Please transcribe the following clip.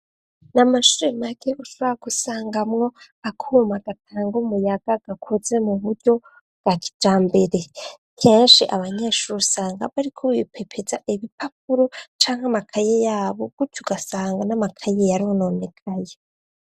Ni amashure make ushobora gusangamwo, akuma gatanga umuyaga gakoze mu buryo bwa kijambere. Kenshi abanyeshuri usanga bariko bipepeza ibipapuro, canke amakaye yabo. Gutyo ugasanga n'amakaye yarononekaye.